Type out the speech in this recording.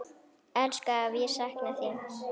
Elsku afi, ég sakna þín.